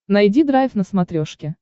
найди драйв на смотрешке